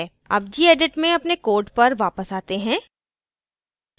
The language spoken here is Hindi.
अब gedit में अपने code पर वापस आते हैं